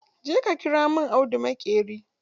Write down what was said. Je ka ƙira min audu maƙeri!